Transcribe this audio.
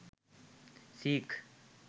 seek